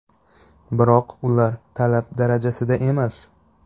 Biroq ular talab darajasida emas.